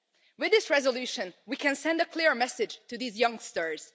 With this resolution, we can send a clear message to these youngsters